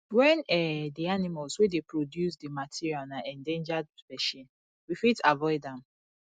when um di animals wey dey produce di material na endangered specie we fit avoid them